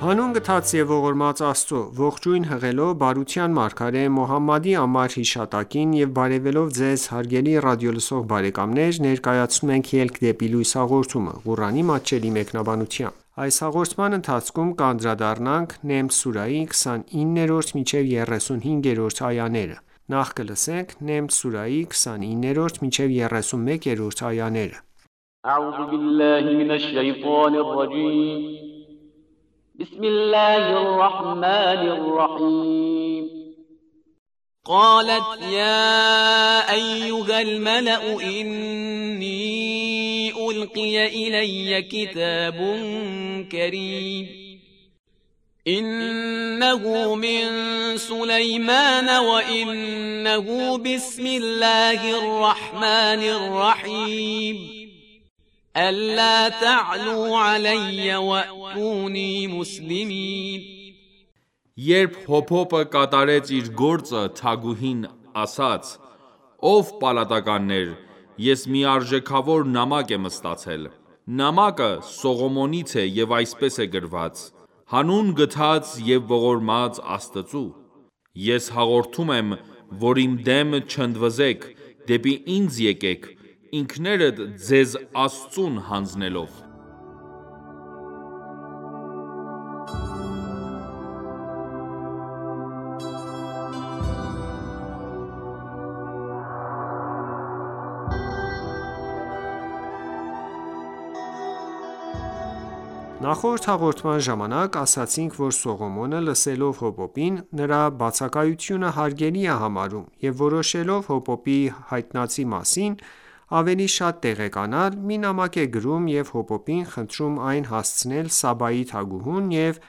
Հանուն գթած և ողորմած Աստծո:Ողջույն հղելով բարության մարգարե Մոհամմադի անմար հիշատակին եւ բարեւելով Ձեզ հարգելի ռադիոլսող բարեկամներ ներկայացնում ենք «Ելք դեպի լույս» հաղորդումը, Ղուրանի մատչելի մեկնաբանությամբ: Նամլ սուրահի 29-31-րդ այաներ قَالَتْ یَا أَیُّهَا الْمَلَأُ إِنِّی أُلْقِیَ إِلَیَّ کِتَابٌ کَرِیمٌ إِنَّهُ مِنْ سُلَیْمَانَ وَإِنَّهُ بِسْمِ اللَّهِ الرَّحْمَٰنِ الرَّحِیمِ أَلَّا تَعْلُوا عَلَیَّ وَأْتُونِی مُسْلِمِینَ (Երբ հոպոպը կատարեց իր գործը, թագուհին) ասաց. «Ո՛վ պալատականներ, ես մի արժեքավոր նամակ եմ ստացել: (Նամակը) Սողոմոնից է, և այսպես է գրված. «Հանուն գթած և ողորմած Աստծու... Ես հորդորում եմ, որ իմ դեմ չընդվզեք, դեպի ինձ եկեք` ինքներդ ձեզ Աստծուն հանձնելով»: Նախորդ հաղորդման ժամանակ ասացինք, որ Սողոմոնը, լսելով հոպոպին, նրա բացակայությունը հարգելի է համարում և որոշելով հոպոպի հայտնածի մասին ավելի շատ տեղեկանալ, մի նամակ է գրում և հոպոպին խնդրում այն հասցնել Սաբայի թագուհուն ու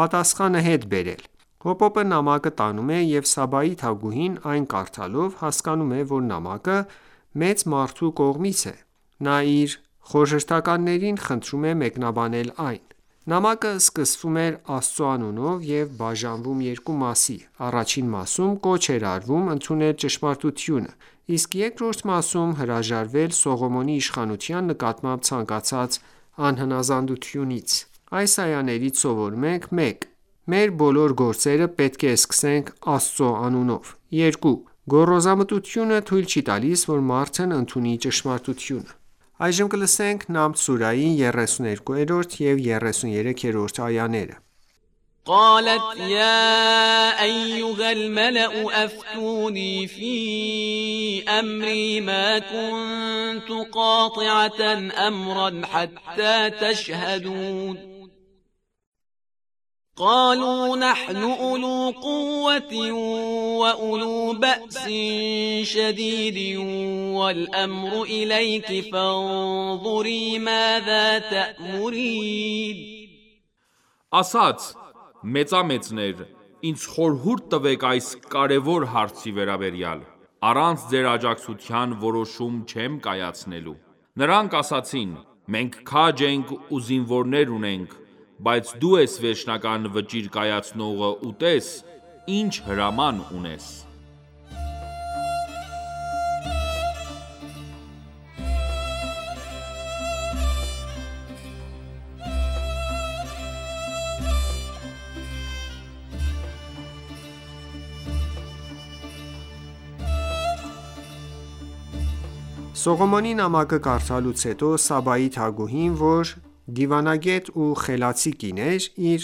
պատասխանը հետ բերել: Հոպոպը նամակը տանում է և Սաբայի թագուհին այն կարդալով, հասկանում է, որ նամակը մեծ մարդու կողմից է: Նա իր խորհրդականներին խնդրում է մեկնաբանել այն: Նամակը սկսվում էր Աստծու անունով և բաժանվում երկու մասի: Առաջին մասում, կոչ էր արվում ընդունել ճշմարտությունը, իսկ երկրորդ մասում՝ հրաժարվել Սողոմոնի իշխանության նկատմամբ ցանկացած անհնազանդությունից: Այս այաներից սովորում ենք. 1. Մեր բոլոր գործերը պետք է սկսենք Աստծու անունով: 2. Գոռոզամտությունը թույլ չի տալիս, որ մարդն ընդունի ճշմարտությունը: Նամլ սուրահի 32 և 33-րդ այաներ Ասաց. «Մեծամեծներ, ինձ խորհուրդ տվեք այս կարևոր հարցի վերաբերյալ: Առանց ձեր աջակցության որոշում չեմ կայացնելու»: Նրանք ասացին. «Մենք քաջ ենք ու զինվորներ ունենք, բայց դու ես վերջնական վճիռ կայացնողը ու տես` ինչ հրաման ունես»: Սողոմոնի նամակը կարդալուց հետո, Սաբայի թագուհին, որ դիվանագետ ու խելացի կին էր, իր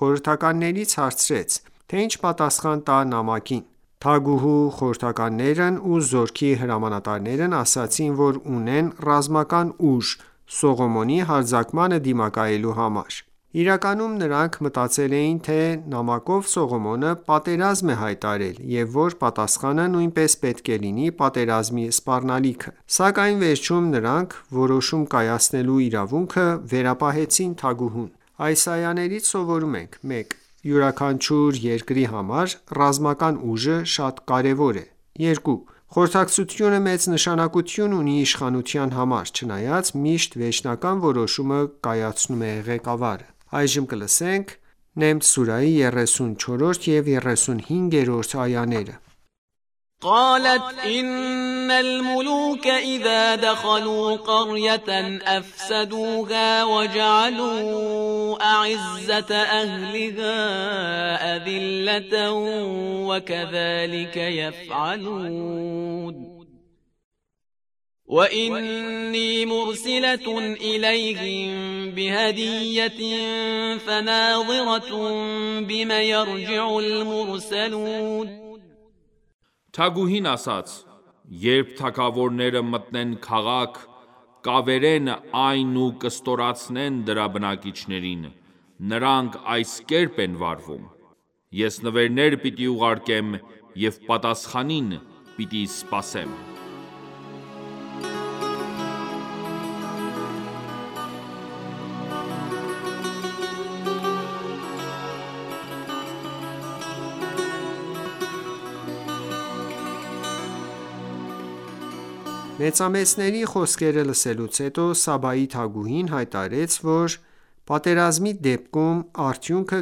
խորհրդականներից հարցրեց, թե ինչ պատասխան տա նամակին: Թագուհու խորհրդականներն ու զորքի հրամանատարներն ասացին որ ունեն ռազմական ուժ՝ Սողոմոնի հարձակմանը դիմակայելու համար: Իրականում նրանք մտածել էին, թե նամակով Սողոմոնը պատերազմ է հայտարարել և որ պատասխանը նույնպես պետք է լինի պատերազմի սպառնալիքը: Սակայն վերջում նրանք որոշում կայացնելու իրավունքը վերապահեցին թագուհուն: Այս այաներից սովորում ենք. 1. Յուրաքանչյուր երկրի համար ռազմական ուժը շատ կարևոր է: 2. Խորհրդակցությունը մեծ նշանակություն ունի իշխանության համար, չնայած միշտ վերջնական որոշումը կայացնում է ղեկավարը: Նամլ սուրահի 34 և 35-րդ այաներ وَإِنِّی مُرْسِلَةٌ إِلَیْهِمْ بِهَدِیَّةٍ فَنَاظِرَةٌ بِمَ یَرْجِعُ الْمُرْسَلُونَ (Թագուհին) ասաց. «Երբ թագավորները մտնեն քաղաք, կավերեն այն ու կստորացնեն դրա բնակիչներին: Նրանք այս կերպ են վարվում: Ես նվերներ պիտի ուղարկեմ և պատասխանին պիտի սպասեմ: Մեծամեծների խոսքերը լսելուց հետո, Սաբայի թագուհին հայտարարեց, որ պատերազմի դեպքում արդյունքը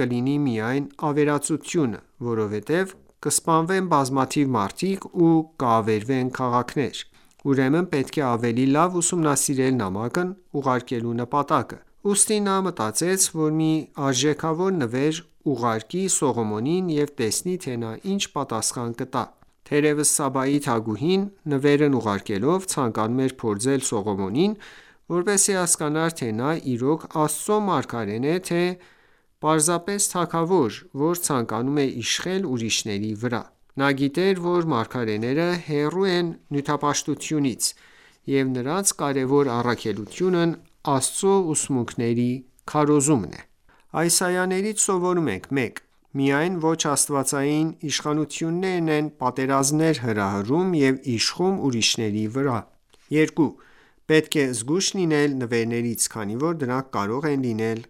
կլինի միայն ավերածությունը, որովհետև կսպանվեն բազմաթիվ մարդիկ ու կավերվեն քաղաքներ: Ուրեմն պետք է ավելի լավ ուսումնասիրել նամակն ուղարկելու նպատակը: Ուստի նա մտածեց, որ մի արժեքավոր նվեր ուղարկի Սողոմոնին և տեսնի թե նա ինչ պատասխան կտա: Թերևս Սաբայի թագուհին նվերն ուղարկելով, ցանկանում էր փորձել Սողոմոնին, որպեսզի հասկանար, թե նա իրոք Աստծու մարգարե՞ն է թե՝ պարզապես թագավոր, որ ցանկանում է իշխել ուրիշների վրա: Նա գիտեր, որ մարգարեները հեռու են նյութապաշտությունից և նրանց կարևոր առաքելությունն Աստծու ուսմունքների քարոզումն է: Այս այաներից սովորում ենք. 1. Միայն ոչ աստվածային իշխանություններն են պատերազմներ հրահրում և իշխում ուրիշների վրա: 2. Պետք է զգույշ լինել նվերներից, քանի որ դրանք կարող են լինել